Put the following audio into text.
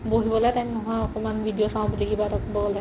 বহিবলে time নোহুৱা অকমাণ video চাও বুলি কিবা এটা ক'ব গ'লে